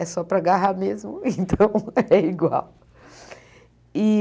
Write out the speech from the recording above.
É só para agarrar mesmo, então é igual.